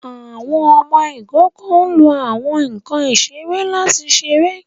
Àwọn ọmọ ikoko lo awọn nkan isere lati ṣere